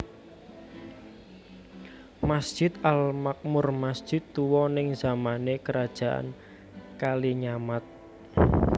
Masjid Al Makmur masjid tuwa ning zamane Kerajaan Kalinyamat